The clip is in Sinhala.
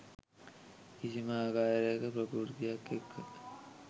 කිසිම ආකාරයක ප්‍රකෘතියක් එක්ක.